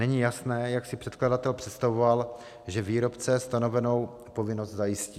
Není jasné, jak si předkladatel představoval, že výrobce stanovenou povinnost zajistí.